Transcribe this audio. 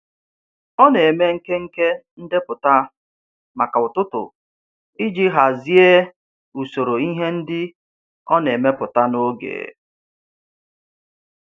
Ọ na-eme nkenke ndepụta maka ụtụtụ iji hazie usoro ihe ndị ọ na-emepụta n'oge.